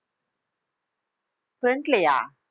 front லயா